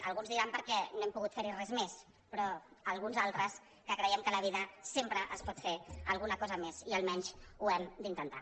alguns diran perquè no hem pogut fer·hi res més però alguns al·tres creiem que a la vida sempre es pot fer alguna cosa més i almenys ho hem d’intentar